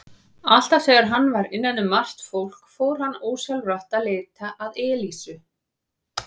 Alltaf þegar hann var innan um margt fólk fór hann ósjálfrátt að leita að Elísu.